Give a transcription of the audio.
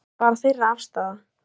Þetta er bara þeirra afstaða